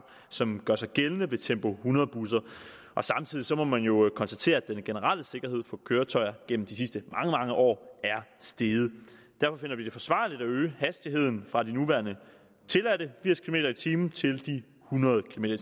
som gør sig gældende ved tempo hundrede busser og samtidig må man jo konstatere at den generelle sikkerhed for køretøjer igennem de sidste mange mange år er steget derfor finder vi det forsvarligt at øge hastigheden fra de nuværende tilladte firs kilometer per time til de hundrede kilometer